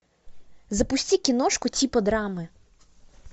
запусти киношку типа драмы